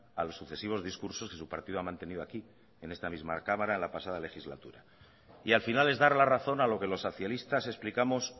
a los sucesivos discursos que su partido ha mantenido aquí en esta misma cámara la pasada legislatura y al final es dar la razón a lo que los socialistas explicamos